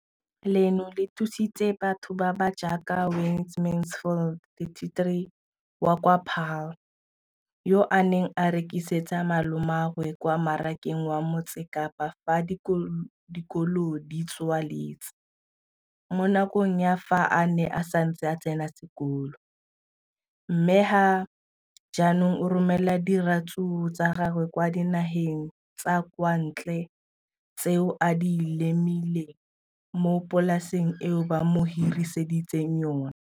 Leno le thusitse batho ba ba jaaka Wayne Mansfield, 33, wa kwa Paarl, yo a neng a rekisetsa malomagwe kwa Marakeng wa Motsekapa fa dikolo di tswaletse, mo nakong ya fa a ne a santse a tsena sekolo, mme ga jaanong o romela diratsuru tsa gagwe kwa dinageng tsa kwa ntle tseo a di lemileng mo polaseng eo ba mo hiriseditseng yona.